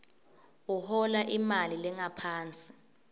uhola imali lengaphansi